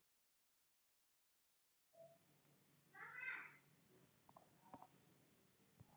Símon: Það er ekkert kalt?